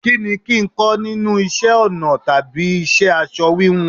Kí ni kín ń kọ́ nínú isẹ́ ọnà tàbí iṣẹ́ aṣọ wíwun?